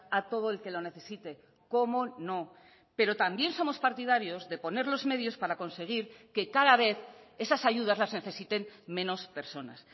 a todo el que lo necesite cómo no pero también somos partidarios de poner los medios para conseguir que cada vez esas ayudas las necesiten menos personas